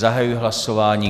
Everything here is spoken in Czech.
Zahajuji hlasování.